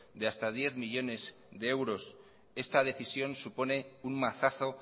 de hasta diez millónes de euros esta decisión supone un mazazo